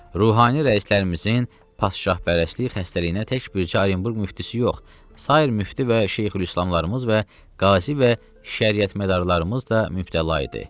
Ruhani rəislərimizin padşahpərəstlik xəstəliyinə tək bürcə Orenburq müftisi yox, sair müfti və şeyxülislamlarımız və qazi və şəriyət mədarlarımız da mübtəla idi.